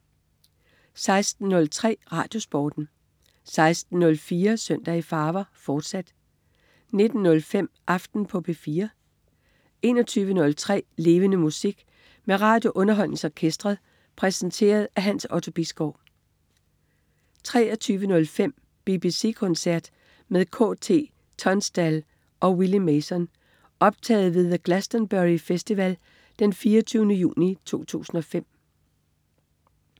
16.03 RadioSporten 16.04 Søndag i farver, fortsat 19.05 Aften på P4 21.03 Levende Musik. Med RadioUnderholdningsOrkestret. Præsenteret af Hans Otto Bisgaard 23.05 BBC koncert med KT Tunstall og Willy Mason. Optaget ved The Glastonbury Festival den 24. juni 2005